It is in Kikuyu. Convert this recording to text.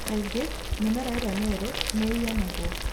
Kaingĩ mĩmera ĩrĩa mĩerũ nĩ ĩniinagwo.